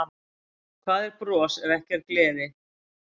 Hvað er bros ef ekki er gleði?